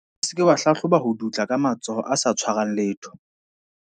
O se ke wa hlahloba ho dutla ka matsoho a sa tshwarang letho.